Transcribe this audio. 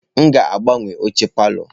M ga-agbanwe oche palọ.